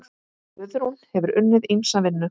Guðrún hefur unnið ýmsa vinnu.